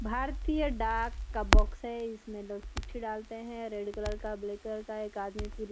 भारतीय डाक का बॉक्स है इसमे लोग चिट्ठी डालते हैं रेड कलर का ब्लैक कलर का एक आदमी फिर--